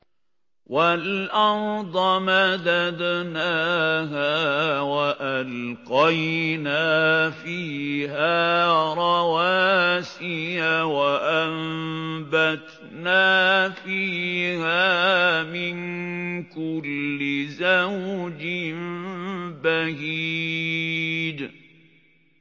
وَالْأَرْضَ مَدَدْنَاهَا وَأَلْقَيْنَا فِيهَا رَوَاسِيَ وَأَنبَتْنَا فِيهَا مِن كُلِّ زَوْجٍ بَهِيجٍ